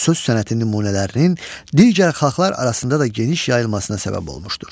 Söz sənəti nümunələrinin digər xalqlar arasında da geniş yayılmasına səbəb olmuşdur.